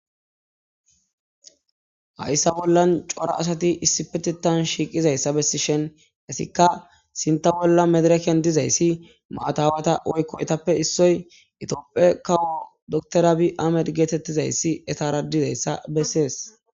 Hayisa bolan cora asati issipetetan shiqizayisa besishen etika sinta bola madiraken dizayis matawata woyikko itape issoy ethiophe kawo dokiter abiy ahimede getetizayisi etara dezayisa beses.